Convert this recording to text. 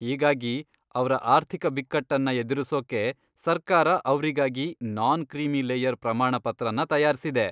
ಹೀಗಾಗಿ, ಅವ್ರ ಆರ್ಥಿಕ ಬಿಕ್ಕಟ್ಟನ್ನ ಎದುರಿಸೊಕ್ಕೆ, ಸರ್ಕಾರ ಅವ್ರಿಗಾಗಿ ನಾನ್ ಕ್ರೀಮಿ ಲೇಯರ್ ಪ್ರಮಾಣ ಪತ್ರನ ತಯಾರ್ಸಿದೆ.